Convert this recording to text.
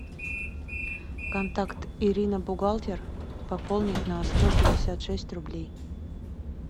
контакт ирина бухгалтер пополнить на сто пятьдесят шесть рублей